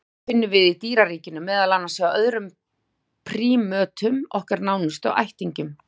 Hana finnum við í dýraríkinu, meðal annars hjá öðrum prímötum, okkar nánustu ættingjum.